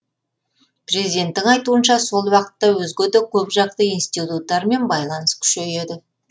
президенттің айтуынша сол уақытта өзге де көпжақты институттармен байланыс күшейеді